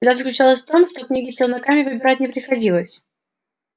беда заключалась в том что книги челнокам выбирать не приходилось